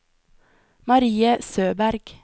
Marie Søberg